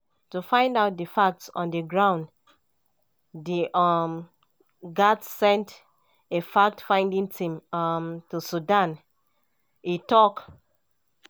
“to find out di facts on di ground di un gatz send a fact-finding team um to sudan” e tok.